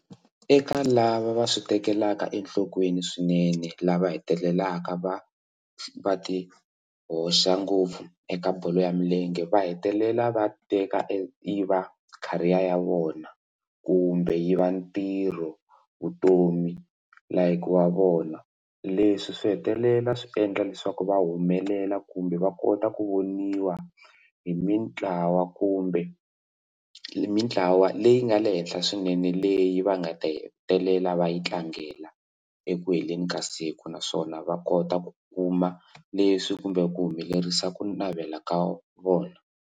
Eka lava va swi tekelaka enhlokweni swinene lava hetelelaka va va ti hoxa ngopfu eka bolo ya milenge va hetelela va teka yi va career ya vona kumbe yi va ntirho vutomi like wa vona leswi swi hetelela swi endla leswaku va humelela kumbe va kota ku voniwa hi mitlawa kumbe mitlawa leyi nga le henhla swinene leyi va nga ta hetelela va yi tlangela eku heleni ka siku naswona va kota ku kuma leswi kumbe ku humelerisa ku navela ka vona.